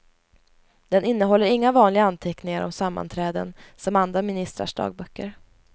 Den innehåller inga vanliga anteckningar om sammanträden som andra ministrars dagböcker.